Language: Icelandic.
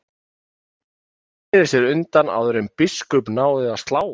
Marteinn sneri sér undan áður en biskup náði að slá hann.